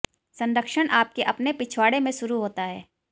संरक्षण आपके अपने पिछवाड़े में शुरू होता है